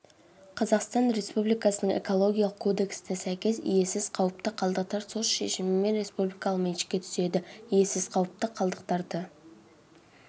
қазақстан республикасының экологиялық кодексіне сәйкес иесіз қауіпті қалдықтар сот шешімімен республикалық меншікке түседі иесіз қауіпті қалдықтарды